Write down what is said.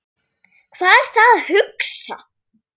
Hvað er það að hugsa?